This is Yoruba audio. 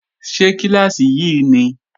Ṣé kíláàsì yí ni?